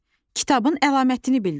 Kitabın əlamətini bildirir.